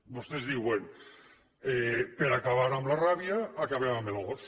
vostès diuen per acabar amb la ràbia acabem amb el gos